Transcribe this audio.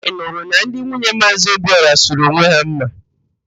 Ị nụrụ na ndị nwunye Maazị Obiora sụrụ onwe ha mma?